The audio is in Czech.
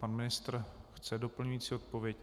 Pan ministr chce doplňující odpověď?